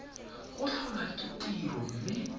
go tlholwa ke tiro mme